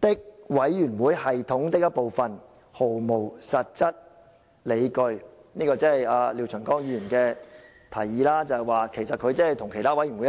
的委員會系統的一部分，是毫無實際理據"，因為廖長江議員認為全體委員會跟其他委員會一樣。